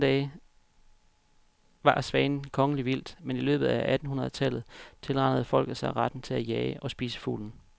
I gamle dage var svanen kongeligt vildt, men i løbet af attenhundred tallet tilranede folket sig retten til at jage og spise fuglen.